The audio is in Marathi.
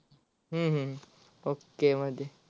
हम्म हम्म OKAY मध्ये